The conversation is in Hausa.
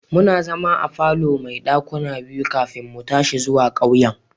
Muna zama a falo mai dakuna biyu kafin mu tashi zuwa ƙauyen.